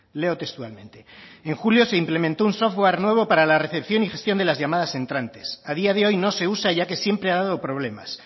leo textualmente en julio se implementó un software nuevo para la recepción y gestión de las llamadas entrantes a día de hoy no se usa ya que siempre ha dado problemas